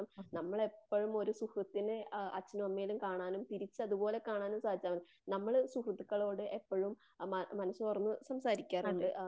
നമ്മളേപ്പഴും ഒരു സുഹൃത്തിനെ ആ അച്ഛനെയും അമ്മയെയും കാണാനും തിരിച്ചതുപോലെ കാണാനും സാധിച്ചാലും മതി. നമ്മള് സുഹൃത്തുക്കളോട്എപ്പഴും മന മനസ്സ് തുറന്ന് സംസാരിക്കാറുണ്ട്.